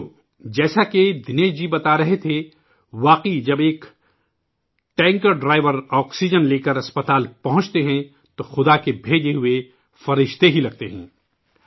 ساتھیو ، جیسا کہ دنیش جی بتا رہے تھے ، جب ایک ٹینکر کا ڈرائیور آکسیجن لے کر اسپتال پہنچتا ہے تو بھگوان کابھیجا ہوا دوت لگتا ہے